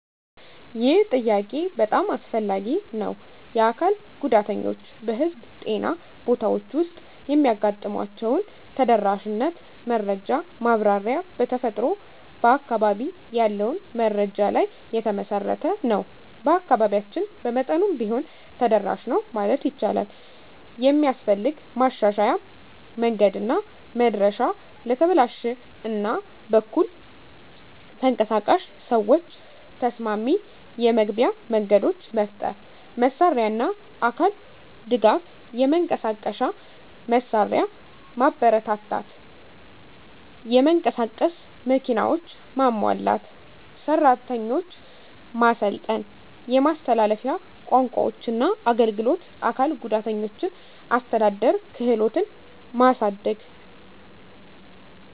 ይህ ጥያቄ በጣም አስፈላጊ ነው። የአካል ጉዳተኞች በህዝብ ጤና ቦታዎች ውስጥ የሚያጋጥሟቸውን ተደራሽነት መረጃ ማብራሪያ በተፈጥሮ በአካባቢ ያለውን መረጃ ላይ የተመሠረተ ነው። በአካባቢያችን በመጠኑም ቢሆን ተደራሽ ነው ማለት ይቻላል። የሚስፈልግ ማሻሻያ መንገድና መድረሻ ለተበላሽ እና በኩል ተንቀሳቃሽ ሰዎች ተስማሚ የመግቢያ መንገዶች መፍጠር። መሳሪያና አካል ድጋፍ የመንቀሳቀሻ መሳሪያ ማበረታታት (የመንቀሳቀስ መኪናዎች) ማሟላት። ሰራተኞች ማሰልጠን የማስተላለፊያ ቋንቋዎችና አገልግሎት አካል ጉዳተኞችን አስተዳደር ክህሎትን ማሳደግ።